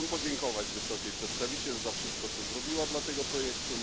Chciałbym podziękować Wysokiej Przedstawiciel za wszystko, co zrobiła dla tego projektu.